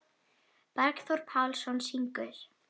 Bergþór Pálsson syngur.